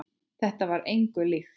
Þetta var engu lagi líkt.